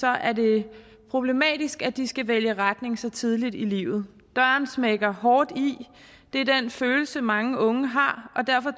er det problematisk at de skal vælge retning så tidligt i livet døren smækker hårdt i det er den følelse mange unge har og derfor